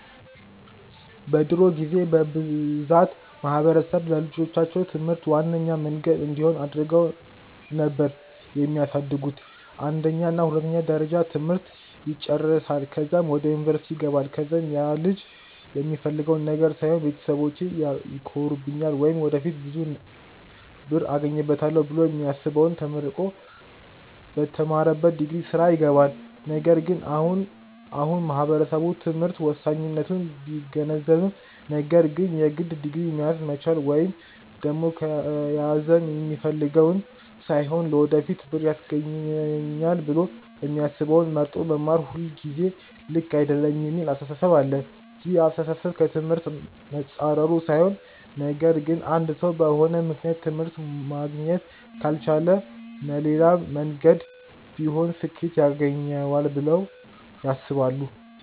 በድሮ ጊዜ በብዛት ማህበረሰብ ለልጆቻቸው ትምህርት ዋነኛ መንገድ እንዲሆን አድርገው ነበር የሚያሳድጉት፤ የአንደኛ እና የሁለተኛ ደረጃ ትምህርት ይጨረሳል ከዛም ወደ ዩኒቨርስቲ ይገባል ከዛም ያልጅ የሚፈልገውን ነገር ሳይሆን ቤተሰቢቼ ይኮሩብኛል ወይም ወደፊት ብዙ ብር አገኝበታለው ብሎ የሚያስበውን ተመርቆ በተማረበት ዲግሪ ስራ ይገባል። ነገር ግን አሁን አሁን ማህበረሰቡ ትምህርት ወሳኝነቱን ቢገነዘብም ነገር ግን የግድ ዲግሪ መያዝ መቻል ወይም ደግም ከያዘም የሚፈልገውን ሳይሆን ለወደፊት ብር ያስገኘኛል ብሎ የሚያስበውን መርጦ መማር ሁልጊዜ ልክ አይደለም የሚል አስተሳሰብ አለ። ይህ አስተሳሰብ ከ ትምህርት መፃረሩ ሳይሆን ነገር ግን አንድ ሰው በሆነ ምክንያት ትምህርት ማግኘት ካልቻለ መሌላም መንገድ ቢሆን ስኬት ያገኘዋል ብለው ያስባሉ።